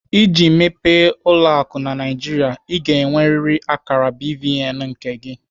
Iji mepee ụlọ akụ na Naijiria, Ị ga-enweriri akara BVN nke gị.